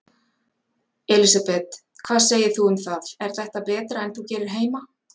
Elísabet: Hvað segir þú um það, er þetta betra en þú gerir heima?